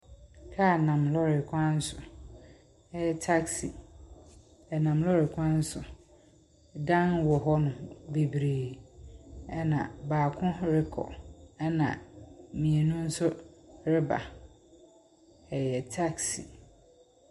Car nam lɔɔre kwan so. Ɛyɛ taksi. Ɛnam lɔɔre kwan so. Dan wɔ hɔnom bebree. Ɛna baako rekɔ. Ɛna mmienu nso reba. Ɛyɛ taksi.